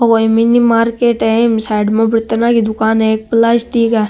ओ एक mini market है ईम साइड मा बर्तना की दुकान है एक प्लासटिक है।